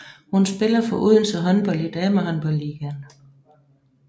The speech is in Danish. Hun spiller for Odense Håndbold i Damehåndboldligaen